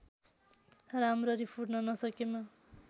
राम्ररी फुट्न नसकेमा